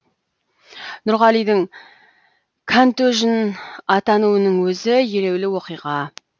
нұрғалидің кәнтөжін атануының өзі елеулі оқиға